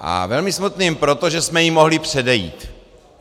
A velmi smutným proto, že jsme jí mohli předejít.